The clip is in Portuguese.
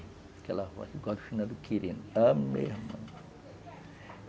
Aquela voz, igual a finado Quirina, a mesma.